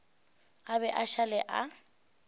a be a šale a